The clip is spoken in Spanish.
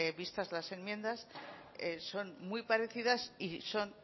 vistas las enmiendas son muy parecidas y son